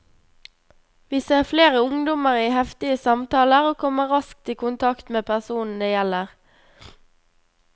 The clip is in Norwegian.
Vi ser flere ungdommer i heftige samtaler og kommer raskt i kontakt med personen det gjelder.